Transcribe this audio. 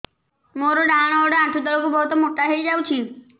ମୋର ଡାହାଣ ଗୋଡ଼ ଆଣ୍ଠୁ ତଳକୁ ବହୁତ ମୋଟା ହେଇଯାଉଛି